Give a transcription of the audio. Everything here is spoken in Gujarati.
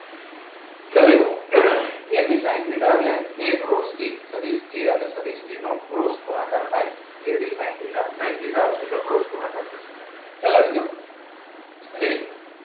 ચલો એબી સાઈન થીટા એટલે એ ક્રોસ બી સદીશ એ અને સદિશ એ નો ક્રોસ ગુણાકાર થાય. A B sine theta sine theta આવશે એટલે ક્રોસ ગુણાકાર થશે. ખ્યાલ આવી ગયો? ready?